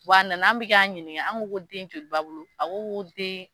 Wa a nana an bɛ k'a ɲininga an ko ko den joli b'a bolo a ko ko den